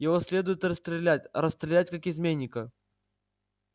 его следует расстрелять расстрелять как изменника